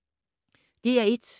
DR1